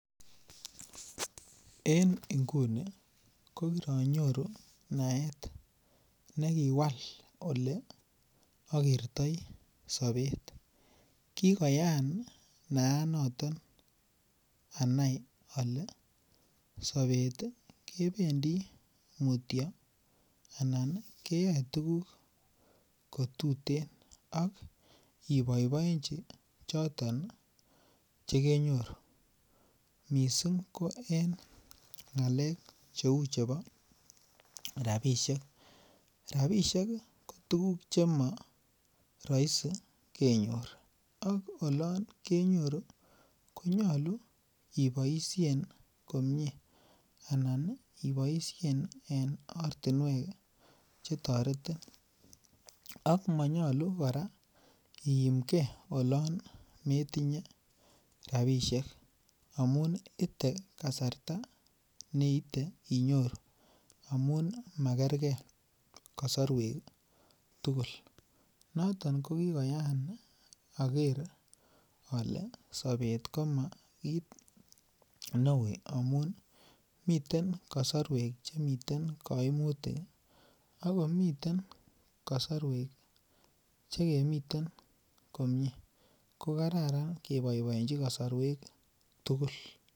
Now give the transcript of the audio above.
En nguni kokironyoru naet akobo Ole akertoi sobet kigoyaan naenaton anai ale sobet keyoe tuguk ko tuten ak oboibonji choton Che kenyoru mising ko en ngalek Che chebo rabisiek rabisiek ko tuguk Che moroisi kenyor ak olon kenyoru ii konyolu iboisien komie anan iboisien en ortinwek Che toretin ak manyolu kora iimge olon metinye rabisiek amun ite kasarta neite inyoru amun makergei kosorwek tugul noton ko kigoyaan ager ale sobet koma kit neui amun miten miten kasarwek Che miten kaimutik ak komi kasarwek komiten kosorwek Che kemiten komie ko Kararan Ke boeboenji kasarwek tugul